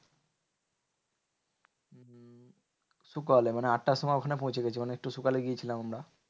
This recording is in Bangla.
সকালে মানে আটটার সময় ওখানে পৌঁছে গেছি মানে একটু সকালে গিয়েছিলাম আমরা।